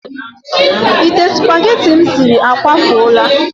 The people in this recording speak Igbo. Ite supageti m siri akwafuola.